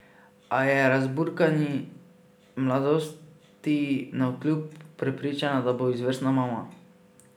A je razburkani mladosti navkljub prepričana, da bo izvrstna mama.